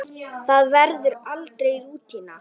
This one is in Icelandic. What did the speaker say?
Það verður aldrei rútína.